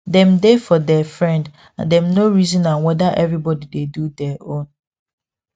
dem dey for der friend and them no reason am weda every body dey do der own